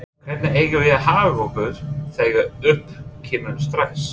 Hvernig eigum við að haga okkur þegar upp kemur stress?